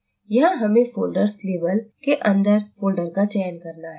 यहाँ हमें folders label के अंदर folder का चयन करना है